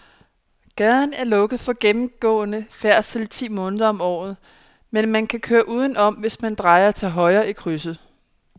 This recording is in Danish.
Gaden er lukket for gennemgående færdsel ti måneder om året, men man kan køre udenom, hvis man drejer til højre i krydset.